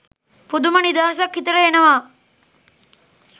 පුදුම නිදහසක් හිතට එනවා